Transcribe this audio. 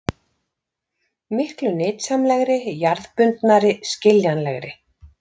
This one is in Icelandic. Miklu nytsamlegri, jarðbundnari, skiljanlegri!